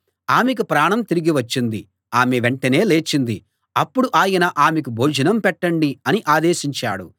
ఆమెకు ప్రాణం తిరిగి వచ్చింది ఆమె వెంటనే లేచింది అప్పుడు ఆయన ఆమెకు భోజనం పెట్టండి అని ఆదేశించాడు